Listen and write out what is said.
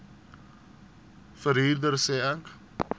verhuurder sê ek